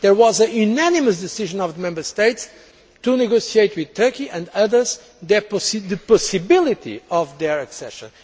There was a unanimous decision by the Member States to negotiate with Turkey, and others, the possibility of their accession.